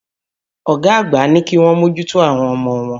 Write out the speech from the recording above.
Ọ̀gá àgbà ní kíwọ́n mòjùtò àwọn ọmọ wọn.